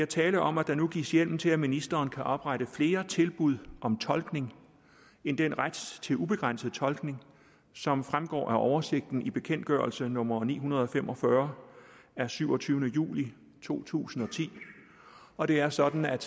tale om at der nu gives hjemmel til at ministeren kan oprette flere tilbud om tolkning end den ret til ubegrænset tolkning som fremgår af oversigten i bekendtgørelse nummer ni hundrede og fem og fyrre af syvogtyvende juli to tusind og ti og det er sådan at